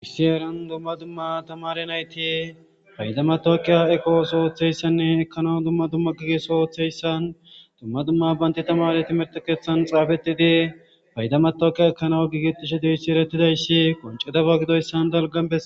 Sssi heran dumma dumma tamare nayti payda matokeya ekqooso oththeyssanne ekkana dumma dumma gigeso oththeyssan dumma dumma baynti tamare timerte keethan xaafetidi payda matok ekanawu gigetishe deyssi erettidayssi qoncete baggidoyis dalgan bees